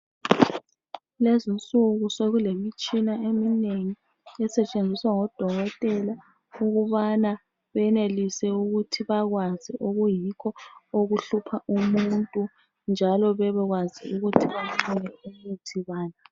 Kulezi insuku sekulemitshina eminengi esetshenziswa ngodokotela. Ukubana benelise ukuthi bakwazi okuyikho okuhlupha umuntu, njalo bebekwazi ukuthi bedinge imithi bani.